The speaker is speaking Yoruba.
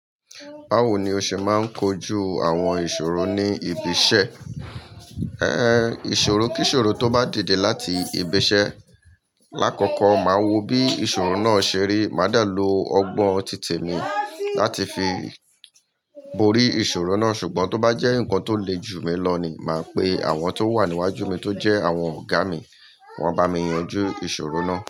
Báwo ni o ṣe máa ń kojú àwọn ìṣòro ní ibi iṣẹ́? Ìṣòro, kí ìṣòro tó bá dìde láti ibi iṣẹ́, lákọ̀kọ́ màá wò bí ìṣòro náà ṣe rí, mà dá lò ọgbọ́n titẹ mi láti fi borí ìṣòro náà ṣùgbọ́n tó bá jẹ́ nǹkan tó le jù mi lọ ni, mà pè àwọn tó wà níwájú mi tó jẹ àwọn ọ̀gá mi, wọn a bá mi yanjú ìṣòro náà.